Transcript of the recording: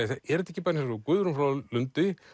er þetta ekki bara eins og Guðrún frá Lundi